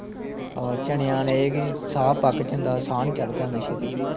ਹੋਰ ਚਨਿਆ ਨਾਲ ਏ ਕੀ ਸਾਂਹ ਪੱਕ ਜਾਂਦਾ, ਸਾਂਹ ਨੀ ਚੜਦਾ ਏਨਾ ਛੇਤੀ